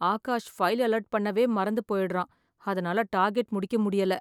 Akash file alert பண்ணவே மறந்து போயிடுறான். அதுனால டார்கெட் முடிக்க முடியல.